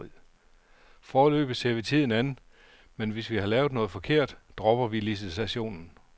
Foreløbig ser vi tiden an, men hvis vi har lavet noget forkert, dropper vi licitationen.